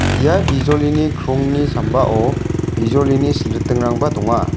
ia bijolini krongni sambao bijolini silritingrangba donga.